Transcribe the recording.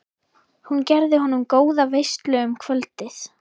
Hún gerði honum góða veislu um kvöldið.